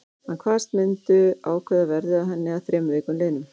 Hann kvaðst myndu ákveða verðið á henni að þremur vikum liðnum.